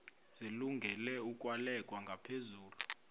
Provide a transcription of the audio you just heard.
zilungele ukwalekwa ngaphezulu